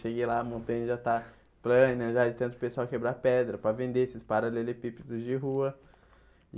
Cheguei lá, a montanha já está plana, já de tanto o pessoal quebrar pedra para vender esses paralelepípedos de rua.